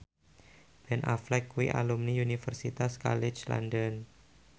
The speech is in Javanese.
Ben Affleck kuwi alumni Universitas College London